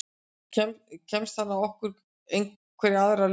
Kemst hann að okkur einhverja aðra leið?